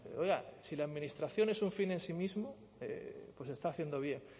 pero oiga si la administración es un fin en sí mismo pues se está haciendo bien